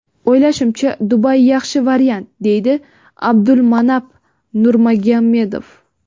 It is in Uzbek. O‘ylashimcha, Dubay yaxshi variant”, deydi Abdulmanap Nurmagomedov.